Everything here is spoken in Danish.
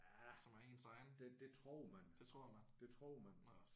Ja det det tror man. Det tror man